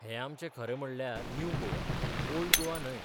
हे आमचें खरें म्हणाल्यार 'न्यू गोवा, 'ओल्ड गोवा न्हय.